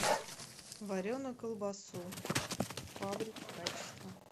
вареную колбасу фабрики качество